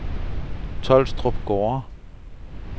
Tolstrup Gårde